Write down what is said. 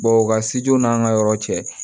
u ka siju n'an ka yɔrɔ cɛ